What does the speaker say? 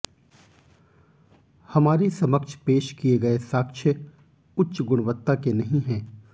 हमारे समक्ष पेश किए गए साक्ष्य उच्च गुणवत्ता के नहीं हैं